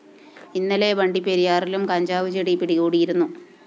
ഇന്നലെ വണ്ടിപ്പെരിയാറിലും കഞ്ചാവ് ചെടി പിടികൂടിയിരുന്നു